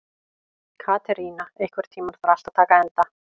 Katerína, einhvern tímann þarf allt að taka enda.